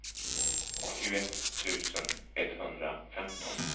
åttioett tusen etthundrafemton